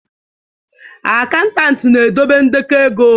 Akantati na-edobe ndekọ ego.